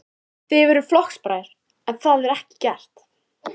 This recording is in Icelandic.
Þið eruð flokksbræður, en það var ekki gert?